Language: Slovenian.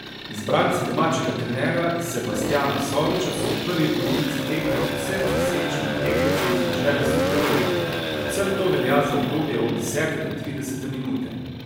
Izbranci domačega trenerja Sebastjana Soviča so v prvi polovici tekme povsem zasenčili tekmece iz dežele suhe robe, predvsem to velja za obdobje od desete do tridesete minute.